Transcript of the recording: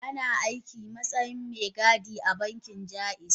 Tana aiki matsayin me gadi a bankin jaiz?